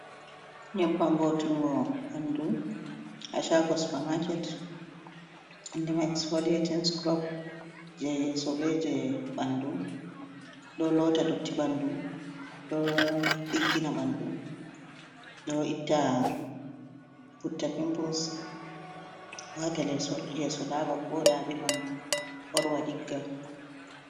Nyebbam wo'itingo ɓandu ha shago supermarket inde man xpolating scrub jei yeso be jei ɓandu. Ɗo lota dotti ɓandu, ɗo ɗiggina ɓandu, ɗo itta putte pimples, wata yeso laaba, wooɗa be bandu ɓorwa ɗigga.